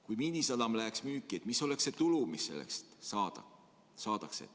Kui Miinisadam läheks müüki, mis oleks see tulu, mis selle eest saada võiks?